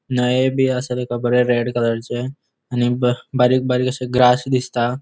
नाएबी असले कपड़े रेड कलरचे आणि ब बारीक बारीक अशे ग्रास दिसता.